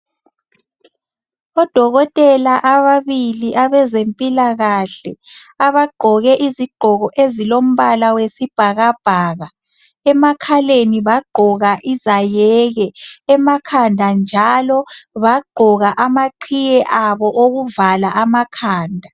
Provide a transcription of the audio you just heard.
Odokotela ababili abazemphilakahle, abagqoke izigqoko ezomphala owesibhakabhaka. emakhaleni bagqoka izayeke, emakhanda njalo bagqoka amaqiye abo okuvala amakhanda.